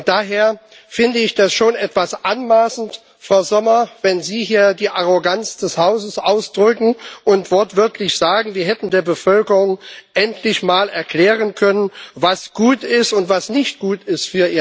Daher finde ich das schon etwas anmaßend, Frau Sommer, wenn Sie hier die Arroganz des Hauses ausdrücken und wortwörtlich sagen, wir hätten der Bevölkerung endlich mal erklären können, was für ihr Land gut ist und was nicht gut ist.